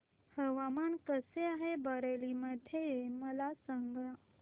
हवामान कसे आहे बरेली मध्ये मला सांगा